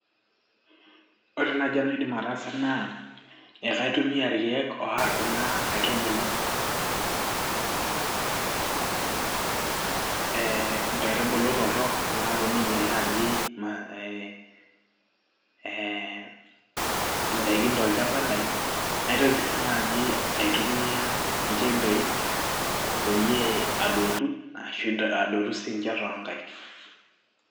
ore naaji enaidim ataasa naa ekaitumia irkeek oarr kuna aitubulu inkaitubulu torrok naaponu ainyial naaji ee indaikin tolchamba lai naitoki sii naaji aitumia inchembei peyie adotu ashu adotu siinche toonkaik'